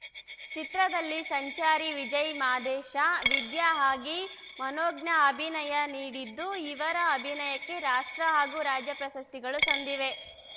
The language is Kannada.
ಚಿತ್ರದಲ್ಲಿ ಸಂಚಾರಿ ವಿಜಯ್‌ ಮಾದೇಶ ವಿದ್ಯಾ ಆಗಿ ಮನೋಜ್ಞ ಅಭಿನಯ ನೀಡಿದ್ದು ಇವರ ಅಭಿನಯಕ್ಕೆ ರಾಷ್ಟ್ರ ಹಾಗೂ ರಾಜ್ಯ ಪ್ರಶಸ್ತಿಗಳು ಸಂದಿವೆ